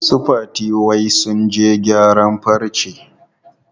Su Fati wai sun je gyaran farce.